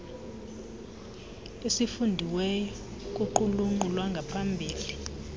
esifundiweyo kuqulunqo lwangaphambili